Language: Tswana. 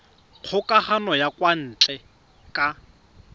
kgokagano ya kwa ntle ka